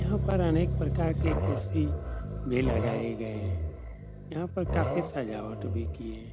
यहाँ पर अनेक प्रकार के कुर्सी भी लगाए गए हैं। यहाँ पर काफी सजावट भी की है।